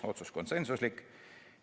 Otsus oli konsensuslik.